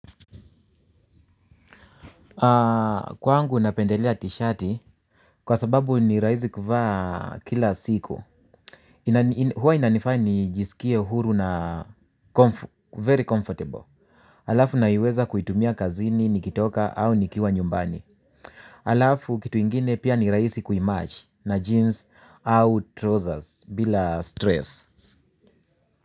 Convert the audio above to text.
Kwangu ninapendelia t-shirti, kwa sababu nirahisi kuvaa kila siku. Huwa inanifanya nijisikie huru na very comfortable. Alafu naiweza kuitumia kazini, nikitoka au nikiwa nyumbani. Alafu kitu ingine pia nirahisi kui match na jeans au trousers bila stress.